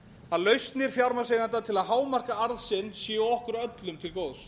að lausnir fjármagnseigenda til að hámarka arð sinn séu okkur öllum mín góðs